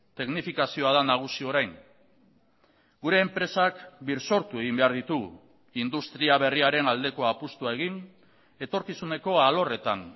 teknifikazioa da nagusi orain gure enpresak birsortu egin behar ditugu industria berriaren aldeko apustua egin etorkizuneko alorretan